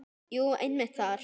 Jú, einmitt þar.